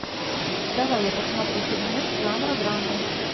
давай я посмотрю фильмец жанра драма